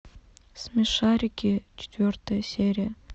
смешарики четвертая серия